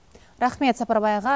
рахмет сапарбай аға